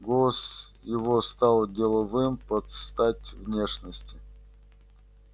голос его стал деловым под стать внешности